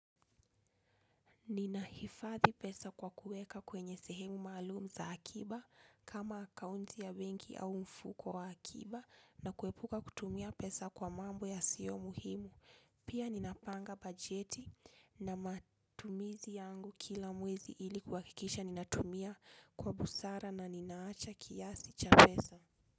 Ninaifadhi pesa kwa kuweka kwenye sehemu maalumu za akiba kama akaunti ya bengi au mfuko wa akiba na kuepuka kutumia pesa kwa mambo ya sio muhimu. Pia ninapanga bajeti na matumizi yangu kila muwezi ili kwakikisha ninatumia kwa busara na ninaacha kiasi cha pesa.